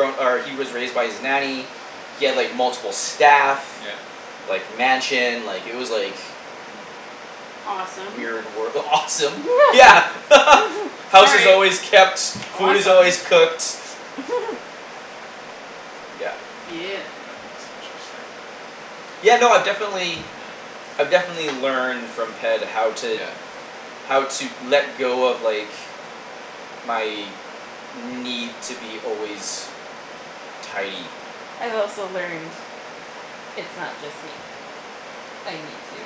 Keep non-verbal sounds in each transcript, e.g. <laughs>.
grown, or he was raised by his nanny he had, like, multiple staff Yeah. like, mansion, like, it was like Mhm. Awesome. weird wor- awesome. Yeah. <laughs> <laughs> House is Sorry. always kept, food is Awesome. always cooked. <laughs> Yeah. Yeah. That's <inaudible> interesting. Yeah, no, I definitely. Yeah. I've definitely learned from Ped how to Yeah. how to let go of, like my need to be always tidy. I've also learned it's not just me. I need to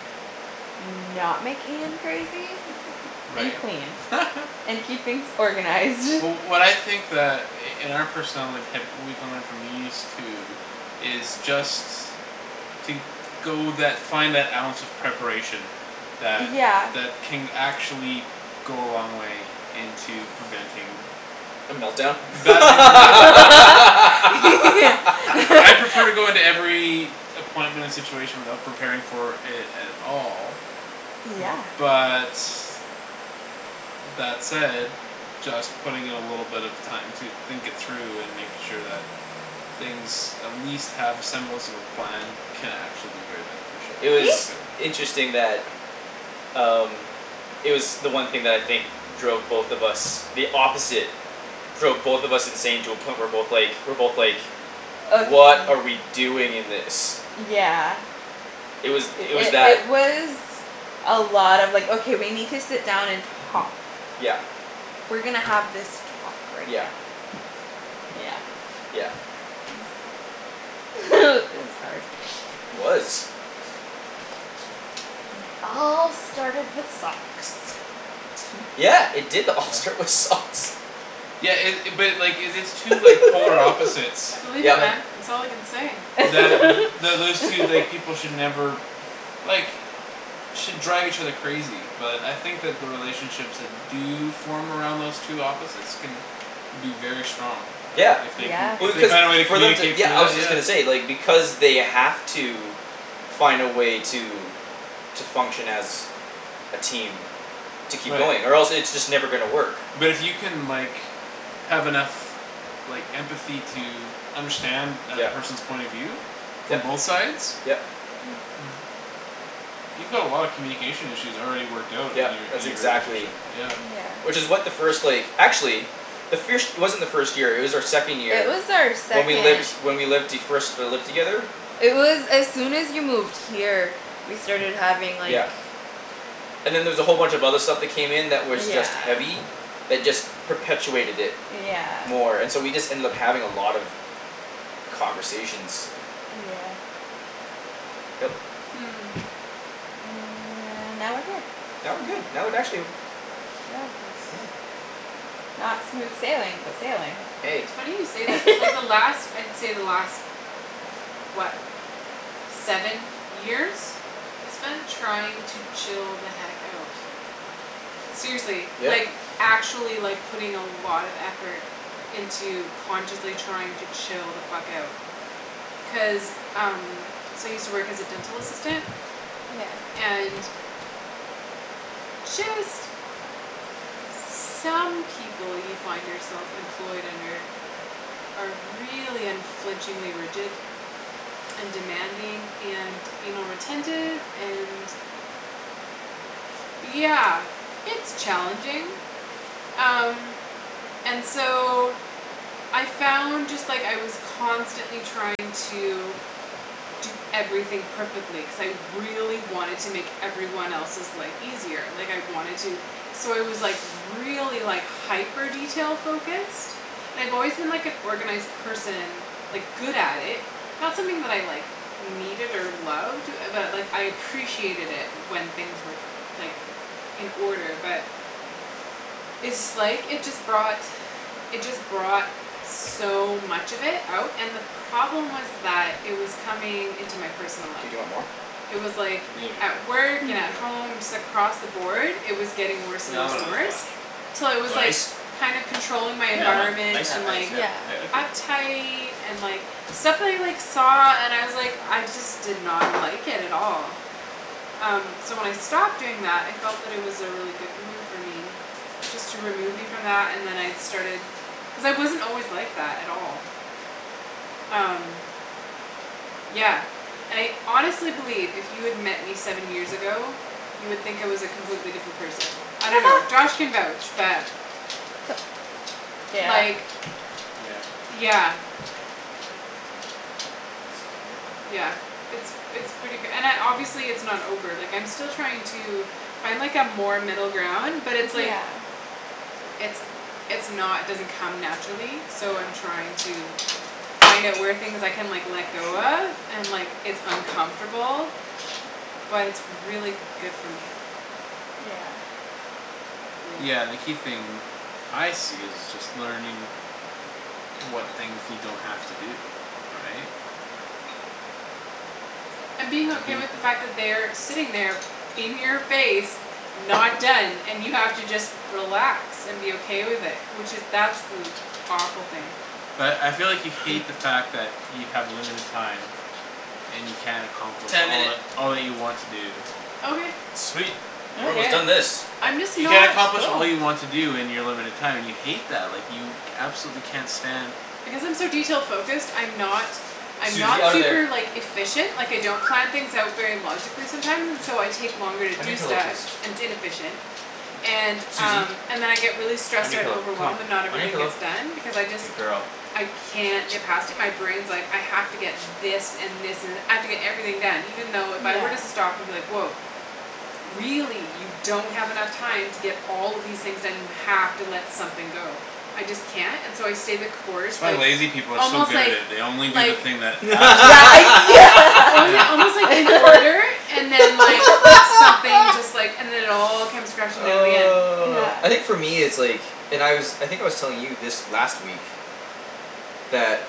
not make Ian crazy <laughs> and Right. clean <laughs> and keep things organized. Wh- what I think that i- in our personality, Ped, we can learn from these two is just to go that, find that ounce of preparation that, Yeah. that can actually go a long way into preventing A melt down? <inaudible> <laughs> right? I <laughs> prefer to go into every appointment and situation without preparing for it at all Yeah. but that said just putting in a little bit of time to think it through and make sure that things at least have a semblance of a plan can actually be very beneficial, It I See? was discovered. interesting that um It was the one thing that I think drove both of us the opposite drove both of us insane to a point we're both like, we're both like Of m- "What are we doing in this?" yeah. It was, It, it was it, that. it was a lot of, like, "Okay, we need to sit down and talk." Yeah. "We're gonna have this talk right Yeah. now." Yeah. Yeah. Is <laughs> It was hard. It was. And it all started with socks. Hm. Yeah, it did <laughs> all Yeah? start with socks. Yeah it- it, but, like, if it's two, like polar <laughs> opposites I <laughs> believe it that Yep. man. It's all I can say. that th- those two, like, <laughs> people should never like should drive each other crazy but I think that the relationships that do form around those two opposites can be very strong, like, Yeah. if they can, Yeah. if Well, they find a way to because for them to, communicate yeah, through I that. was just gonna say, like, because they have to find a way to to function as a team to keep Right. going or else it's just never gonna work. But it you can, like have enough like empathy to understand that Yep. person's point of view from Yep, both sides yep. <noise> you've got a lot of communication issues already worked out in Yep, your, in that's your relationship, exactly yeah. Yeah. Which is what the first, like, actually the firsht it wasn't our first year; it was our second It year was our when we second. lived, when we lived the, first, uh, lived together. It was as soon as you moved here. We started having like Yeah. And then there was a whole bunch of other stuff that came in that was Yeah. just heavy. That just perpetuated it Yeah. more and so we just ended up having a lot of conversations. Yeah. Yep. Hmm. And now we're here. Now we're good. I would actually <inaudible> <noise> Not smooth sailing but sailing. Hey. It's funny you say that. Like, the <laughs> last, I'd say the last what seven years I spent trying to chill the heck out. Seriously, Yeah. like actually, like, putting a lot of effort into consciously trying to chill the fuck out. Cuz um So I use to work as a dental assistant Yeah. and just some people you find yourself employed under are really unflinchingly rigid and demanding and anal retentive and yeah, it's challenging. Um. And so I found just, like, I was constantly trying to do everything perfectly cuz I really wanted to make every one else's life easier like I wanted to so I was, like, really, like hyper detail-focused and I've always been like an organized person like, good at it not something that I, like needed or loved but, like, I appreciated it when things were, like in order but it's, like, it just brought it just brought so much of it out and the problem was that it was coming into my personal life. Dude, you want more? It was like maybe at work and at <noise> <inaudible> home just across the board, it was getting worse Yeah, and I'll worse have and another worse. splash. Till You I want was, like, ice? kinda controlling my Yeah, environment yeah, <inaudible> and, ice, like yeah, thank you. uptight and, like stuff that I, like, saw and was, like, I just did not like it at all. Um, so when I stopped doing that I felt that it was a really good move for me. Just to remove me from that and then I started Cuz I wasn't always like that at all. Um. Yeah. And I honestly believe if you had met me seven years ago you would think I was a completely different person. I don't know. Josh <laughs> can vouch but <noise> Yeah. Like, Yeah. yeah. Hey, Susie bear. Yeah, it's, it's pretty k- and I, obviously it's not over, like, I'm still trying to find, like, a more middle ground but it's, like Yeah. it's, it's not, doesn't come <noise> naturally so I'm Yeah. trying to find out where things I can, like, let Oh, go shoot. of and, like, it's uncomfortable but it's really good for me. Yeah. Yeah. Yeah, and the key thing I see is just learning what things you don't have to do, right? And being okay with the <inaudible> fact that they are sitting there in your face not done and you have to just relax and be okay with it, which is that's li- powerful thing. But I feel like you hate the fact that you have limited time and you can't accomplish Ten all minute. that, all that you want to do. Okay. Sweet, we're almost done <inaudible> this. I'm just You can't not accomplish all Cool. you want to do in your limited time and you hate that. Like, you absolutely can't stand Because I'm so detail focused, I'm not I'm not Susie, out of super, there. like, efficient Like, I don't plan <noise> things out very logically sometimes and so I Yeah. take longer to On your do pillow, stuff, please. and its inefficient. And, Susie. um, and then I get really On stressed your out and pillow, come overwhelmed and on. not On your everything pillow, gets done because I just good girl. I can't get past it my brain's like, "I have to get this and this and, I have to get everything done" even though if I were to Yeah. stop and be like, "Woah. Really you don't have enough time to get all of these things done; you have to let something go." I just can't, and so I stay the course, That's why like, lazy people are so almost, good at like it; they only do the like thing that absolutely Yeah, yeah. only Yeah. almost, like, in <laughs> order and then, like something just, like, <laughs> and then it all comes crashing down in the end. Yeah. Oh, I think for me it's like And I was, I think I was telling you this last week that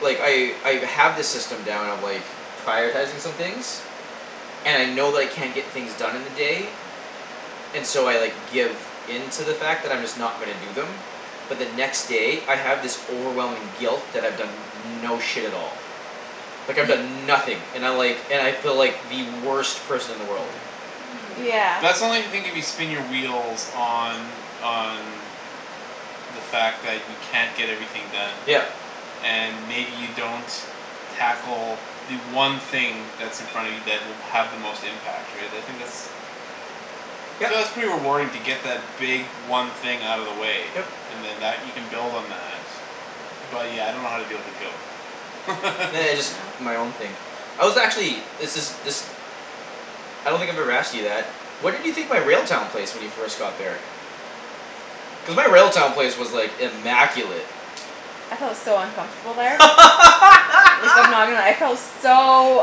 like, I, I've, have this system down of, like prioritizing some things and I know that I can't get things done in the day and so I, like, give in to the fact that I'm just not gonna do them but the next day, I have this overwhelming guilt that I've done no shit at all like, I've Ye- done nothing and I, like, and I feel like the worst person in the world. Yeah. Hmm. Yeah. But that's only the thing if you spin your wheels on, on the fact that you can't get everything done Yep. and maybe you don't tackle the one thing that's in front of you that will have the most impact, right? I think that's Yep. So that's pretty rewarding to get that big one thing out of the way Yep. and then that, you can build on that. But, yeah, I don't know how to deal with the guilt. Nah, it's <laughs> my own thing. I was actually, this is, this I don't think I've ever asked you that. What did you think my Railtown place when you first got there? Cuz my Railtown place was, like, immaculate. I felt so uncomfortable there. Like, I'm not gonna lie, I felt <laughs> so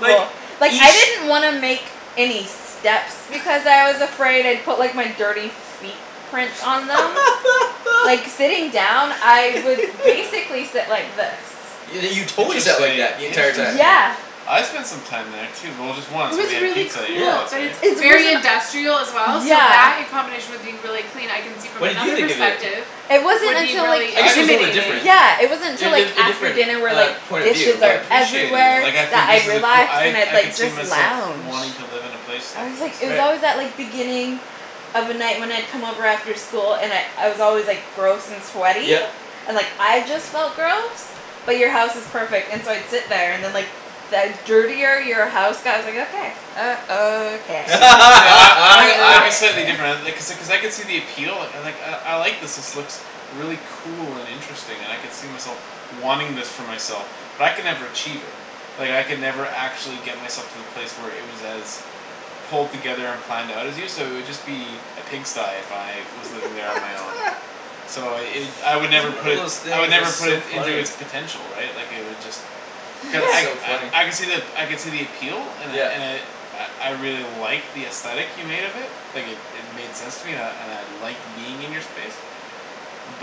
Like, Like, I each didn't want to make any steps <noise> because I was afraid I'd put, like, my dirty feet prints on them. Yeah. Like, sitting down, I would <laughs> Yeah. basically sit like this. Yo- you totally sat like Interesting, that the entire time. interesting. Yeah. I spent some time there too, well, just It once when was we had really pizza at your Yeah. place, cool, but right? it's It's very wasn't industrial as well so Yeah. that in combination with being really clean I can see from What did you another think of it? perspective It wasn't would be until, like really I I guess it can was a little bit intimidating. different. Yeah, it wasn't Er, until, like a, a After different, dinner where, uh, like, point of view, dishes I are but appreciated it, Everywhere like, I that think this I'd is a coo- relax I, and I'd, I could like, see just myself lounge wanting to live in a place like I was, like, this. it was Right. always that, like, beginning of a night when I'd come over after school and I'd, I was always, like Gross and sweaty, Yep. and, like, I just Yeah. felt gross. But you're house is perfect and so I'd sit there and then, Yeah. like the dirtier your house got, I was like, "Okay." Uh, okay. See, see, I, I think I'd be slightly <laughs> different I, uh Okay. like I, I could see the appeal, like, "I, I like this; this looks really cool and interesting and I could see myself wanting this for myself." But I could never achieve it. Like, I could never actually get myself to the place where it was as pulled together and planned out as you, so it'd just be a pigsty if I was living there on my own. <laughs> So it, I would Every never one put of it those s- I would things never is put so it into funny. it's potential, right? Like, it would just Cu- I, That's so <laughs> funny. I, I could see the ap- I could see the appeal and I, Yeah. and I I, I really like the aesthetic you made of it. Like, it, it made sense to me and I, and I liked being in your space.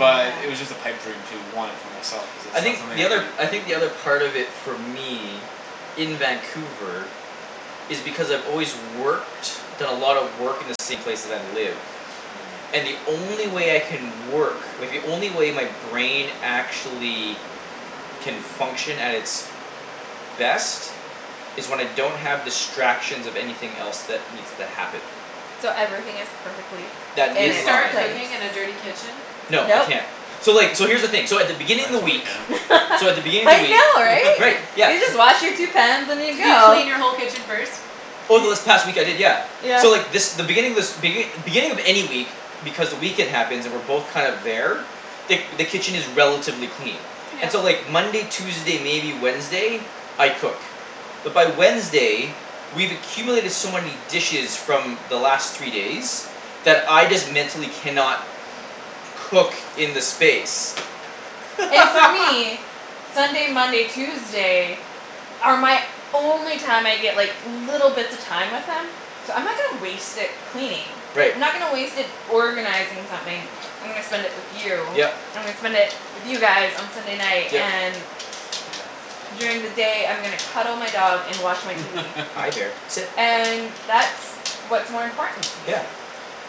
Yeah. it was just a pipe dream to want it for myself cuz it's I not think something the I other, cou- I I think could do the other it. part of it for me in Vancouver is because I've always worked done a lot of work in the same place that I live Hmm. and the only way I can work like, the only way my brain actually can function at its best is when I don't have distractions of anything else that needs to happen So everything is perfectly Can that in you in its start line. place. cooking in a dirty kitchen? No, I Nope. can't. So, like, so here's the thing, so at the beginning I of the totally week can. so at the <laughs> beginning of I the week know, right. Right, <laughs> You yeah. just wash your two pans and you Could you go. clean your whole kitchen first? Over this Ye- past week, I did, yeah. Yeah. So, like, this, the beginning of this begin- beginning of any week because the weekend happens, and we're both kind of there the, the kitchen is relatively clean. Yeah. And so, like, Monday, Tuesday, maybe Wednesday I cook. But by Wednesday we've accumulated so many dishes from the last three days that I just mentally cannot cook in the space. And for me <laughs> Sunday, Monday, Tuesday are my only time I get, like little bits of time with him so I'm not gonna waste it cleaning. Right. I'm not gonna waste it organizing something. I'm Yeah. gonna spend it with you. Yep. I'm gonna spend it with you guys on Sunday night Yep. and Yeah. during the day I'm gonna cuddle my dog and watch my TV. Hi, <laughs> there, sit. And that's what's more important to me. Yeah. Yeah.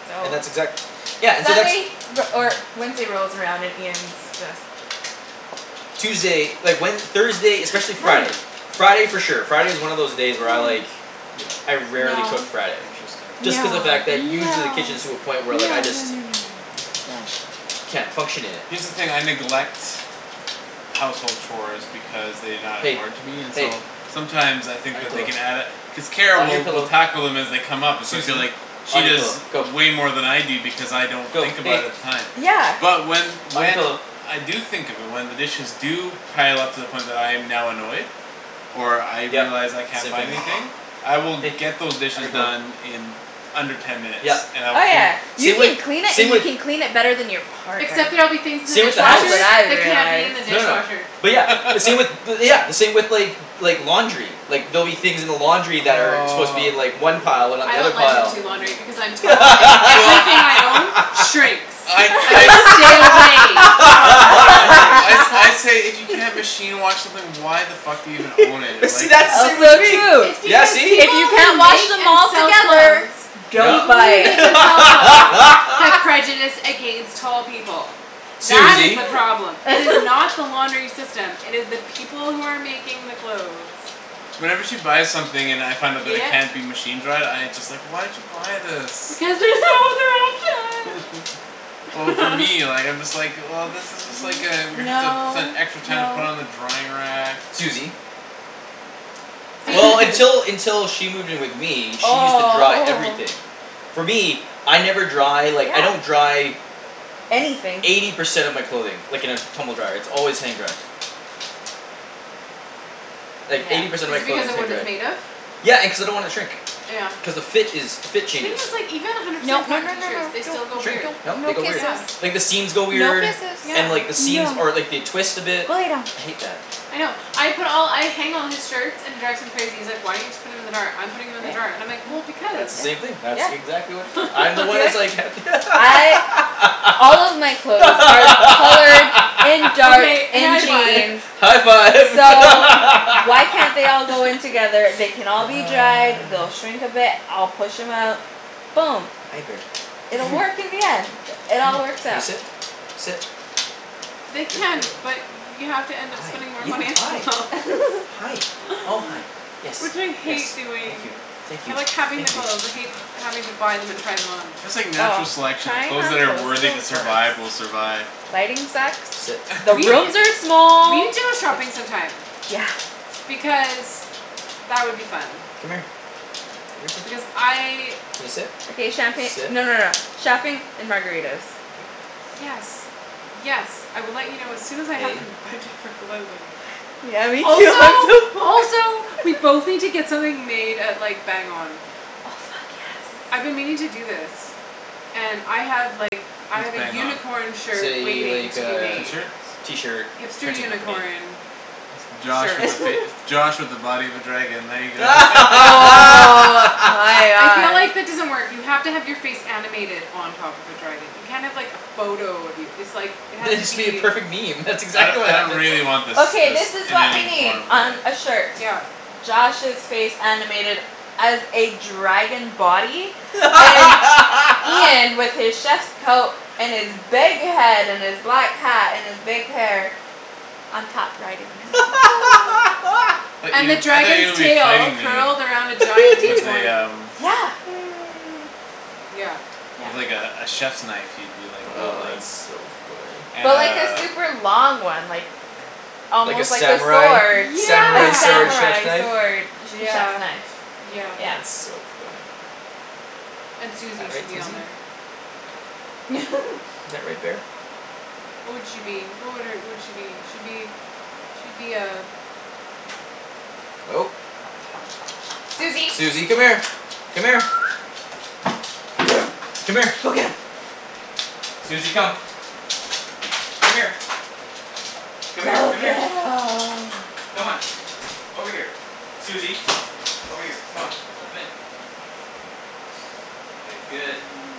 So. And that's exact- Yeah, and so that's Sunday re- or Wednesday rolls around and Ian's Yeah. just <noise> Tuesday, like, when, Thursday, especially Hi. Friday <laughs> Friday for sure. Friday is one of those day where I, like <inaudible> Yeah. I rarely No. cook Friday. Interesting. Just cuz No, the fact that no, usually no, the kitchen is to a no, Yeah. point where, no, like, I just no, no, no. Down. can't function in it. Here's the thing; I neglect household chores because they not Hey, important to me and hey. so sometimes I On think your that they pillow, can add a cuz Kara on your will, will pillow. tackle them as they come up and so I feel like Susie. she On your does pillow, go. way more than I do because I don't Go. think about it Hey. at the time. Yeah. But when, On your when pillow. I do think of it, when the dishes do pile up to the point when I'm now annoyed or I Yep, realize I can't same find thing. anything I will get those Hey, on dishes your pillow. done in under ten minutes Yep, and I will Oh, clean yeah. You same with, can clean it same and you with can clean it better than your partner. Except there'll be things in the same with the That's house. what dishwasher I that can't be in realized. the No, no. dishwasher. But yeah, the same with <laughs> bu- yeah, the same with, like like, laundry. Like, there'll be things in the laundry that are supposed to be in, Aw like, one pile and not I the other don't let him pile. do laundry because I'm tall and Well everything I own shrinks. I, I'm I like, "Stay away from the laundry." I sa- <laughs> I <laughs> say, "If you can't <laughs> machine wash something why the fuck are you gonna own <laughs> it?" But see, Like that's the same Also with true It's me. Yeah, because see? if people you can't who wash make them and all sell together. clothes Don't No. people buy <laughs> who make it. and sell clothes have prejudice against tall people. That is Susie. the problem. It is not the <laughs> laundering system; it is the people who are making the clothes. Whenever she buys something and I find out that it Yep. can't be machine-dried, I just, like, "Why did you buy this?" Because <laughs> there's no <laughs> other option. Well, for me, <laughs> like, I'm just like, "Well, this is just, like, uh we're gonna <inaudible> have to spend No, extra time to put it no. on the drying rack." Susie. See Well, until, until <laughs> she moved in with me, she used to dry Oh, oh. everything. For me, I never dry, like, I don't Yeah. dry Anything. eighty percent of my clothing like, in a tumble dryer; its always hang-dried. Like, eighty Yeah. percent Is of it my because clothing is of what it's made of? hang-dried. Yeah, and cuz I don't wanna shrink. Yeah. Cuz the fit is, the fit Thing changes. is, like, even a hundred Nope, percent no, cotton no, no, t-shirts, no. Don't, they still go Shrink. weird. don't, No, no they go weird. kisses. Yeah. Like the seams go No weird kisses. Yeah. and, like, the seams, No. or, like, they twist a bit. Go lay down. I hate that. I know. I put all, I hang all his shirts, and it drives him crazy; he's like, "Why don't you just put them in the dryer? I'm putting them in the dryer" <noise> and I'm like, "Well, S- because." that's the same thing; that Yeah, yeah. exactly what you do. I'm the one Be that's like like <laughs> ha- I All of <laughs> my clothes are colored and <laughs> dark Okay, and high five. jeans. <laughs> High five. So why can't they all <laughs> go in <laughs> together? They can all be dried, Ah. they'll shrink a bit, I'll push 'em out. Boom. Hi, bear, It'll come work <laughs> here. in the end. It all Come here. works Can you out. sit? Sit. They Good can, girl. but you have to end up Hi, spending more yeah, money on hi. clothes. <laughs> <laughs> Hi, oh, hi. Yes, Which I hate yes, thank doing. you. Thank I you, like having the thank you. clothes. I hate having to buy them and try them on. It's just like Oh, natural selection; the tying clothes on that are toes is the worthy to worst. survive will survive. Lighting sucks. Sit. The We, rooms <laughs> are we small, need to go it shopping some time. Yeah. Because that would be fun. Come here. Because <inaudible> I Can you sit? Okay, champagne, Sit. no, no, no, shopping and margaritas. Good girl. Yes. Yes, I will let you know as soon as I have Hey. a budget for clothing. Yeah, me too. <laughs> I'm so Also, poor. also we both need to get something made at, like Bang On. Oh, fuck, I've yes. been meaning to do this. And I have, like I What's have a Bang On? unicorn shirt Say, waiting like to be uh, made. t-shirts? t-shirt Hipster printing company. unicorn It's Josh shirt. with a fac- it's <laughs> Josh with a body of a dragon, there you go. Oh, my I feel god. like that <laughs> doesn't work. You have to have your face animated on top of a dragon. You can't have like a photo of you. It's like, it has Then to it should be a be perfect meme; that's I don- exactly what I don't happens. really want this, Okay, this this is in what we any need form, really. on a shirt. Yep. Josh's face animated as a dragon body and Ian with his <laughs> chef's coat and his big head and his black hat and his big hair on top riding his <inaudible> <laughs> I thought And the you, I thought you would dragon's be tail fighting me, curled around a giant D with a twenty. <laughs> um Yeah. <noise> Yeah. Yeah. with, like, a, a chiefs knife you'd be Oh, wielding. that's so funny. And But like a uh super long one, like Like a almost like a sword. samurai? A Samurai sword Yeah. chef's samurai knife? sword. A che- chef's Yeah, knife, yeah. yeah. That's so funny. And All Susie should right, be on Susie. there. <laughs> Is that right, bear? What would she be? What would her, would she be? She'd be she'd be a Oh. Susie. Susie, come here. Come here. <noise> Go. Come here. Go get 'em. Susie, come. Come here. Come here, Go come here. get 'em. Come on. Over here. Susie. Over here. Come on. Let them in.